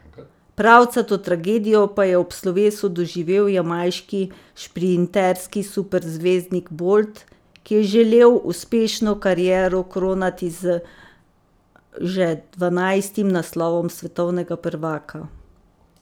Pravcato tragedijo pa je ob slovesu doživel jamajški šprinterski superzvezdnik Bolt, ki je želel uspešno kariero kronati z že dvanajstim naslovom svetovnega prvaka.